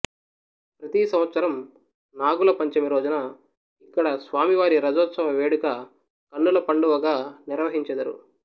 ప్రతి సంవత్సరం నాగుల పంచమి రోజున ఇక్కడ స్వామివారి రథోత్సవ వేడుక కన్నుల పండువగా నిర్వహించెదరు